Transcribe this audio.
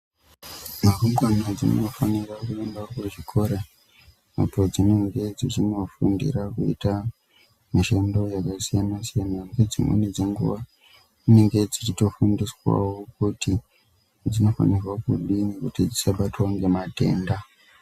Rumbwana dzinofanira kuenda kuzvikora apo padzinenga dzichinofundira kuita mishando yakasiyana-siyana. Nedzimweni dzenguva dzinenge dzichitofundiswavo kuti dzinofanirwa kudini kuti dzisabatwa ngematenda.